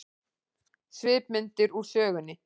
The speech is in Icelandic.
Svipmyndir úr sögunni